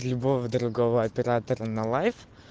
любого другого оператора на лайф